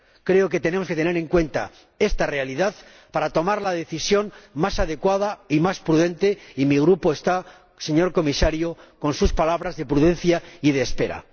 Creo que tenemos que tener en cuenta esta realidad para tomar la decisión más adecuada y más prudente, y mi Grupo está, señor Comisario, con sus palabras de prudencia y de espera.